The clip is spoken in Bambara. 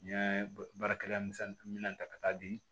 N ye baarakɛla misɛnnin min ta ka taa di